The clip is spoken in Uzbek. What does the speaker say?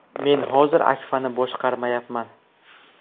Men hozir Akfa’ni boshqarmayapman.